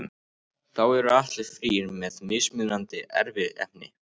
Þá eru allir þrír með mismunandi erfðaefni.